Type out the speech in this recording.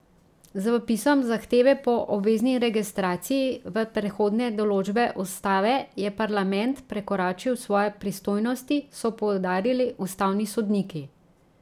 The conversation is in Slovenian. Z vpisom zahteve po obvezni registraciji v prehodne določbe ustave je parlament prekoračil svoje pristojnosti, so poudarili ustavni sodniki.